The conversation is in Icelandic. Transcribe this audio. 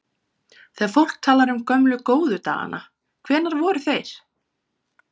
Þegar fólk talar um gömlu, góðu dagana, hvenær voru þeir?